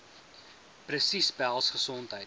presies behels gesondheid